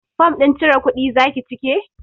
Fom ɗin cire kuɗi zaki cike?